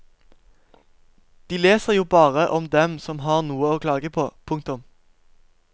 De leser jo bare om dem som har noe å klage på. punktum